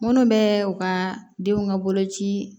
Minnu bɛ u ka denw ka boloci